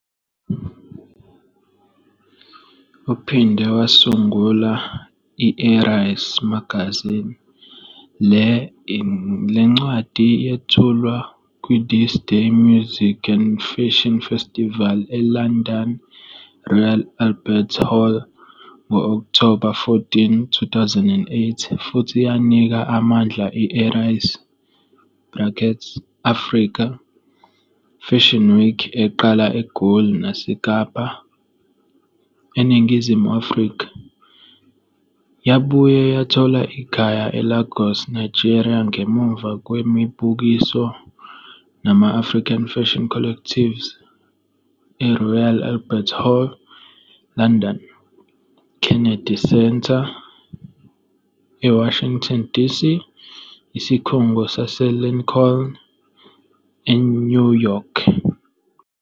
Uphinde wasungula i-ARISE Magazine. Le ncwadi yethulwa kwi-THISDAY Music and Fashion Festival eLondon eRoyal Albert Hall ngo-Okthoba 14, 2008 futhi yanika amandla i-ARISE, AFRICA, FASHION Week eqala eGoli naseKapa, eNingizimu Afrika, yabuye yathola ikhaya eLagos INigeria - ngemuva kwemibukiso nama-African Fashion Collectives eRoyal Albert Hall, eLondon, Kennedy Centre, eWashington DC, Isikhungo saseLincoln, eNew York.